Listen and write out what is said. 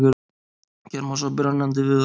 Hér má sjá brennandi viðarkol.